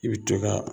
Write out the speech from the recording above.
I bɛ to ka